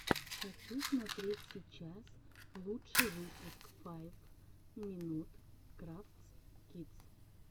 хочу смотреть сейчас лучший выпуск файв минут крафтс кидс